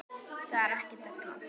Það er ekki della.